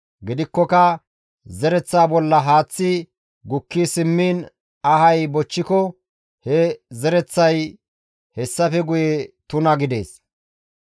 Gidikkoka zereththa bolla haaththi gukki simmiin ahay bochchiko he zereththay hessafe guye tuna gidees.